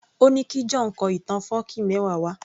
Ó ní kí John kọ ìtàn fọ́ọ̀kí mẹ́wa wá